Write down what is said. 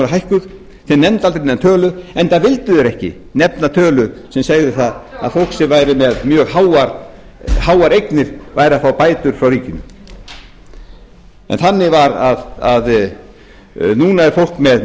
hækkuð það nefndi aldrei neina tölu enda vildi það ekki nefna tölu sem segði að fólk sem væri með mjög miklar eignir fengi bætur frá ríkinu núna fær fólk með mjög miklar eignir bætur frá